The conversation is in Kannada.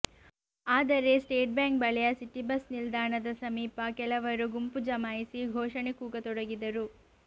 ಆದರೆ ಸ್ಟೇಟ್ ಬ್ಯಾಂಕ್ ಬಳಿಯ ಸಿಟಿ ಬಸ್ ನಿಲ್ದಾಣದ ಸಮೀಪ ಕೆಲವರು ಗುಂಪು ಜಮಾಯಿಸಿ ಘೋಷಣೆ ಕೂಗತೊಡಗಿದರು